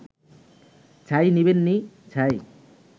ছাই নিবেন নি…ছাই